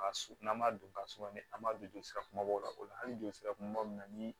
N'an m'a dun ka suma ni an b'a don jolisira kumabaw la o la hali ni joli sira kunbaba min na ni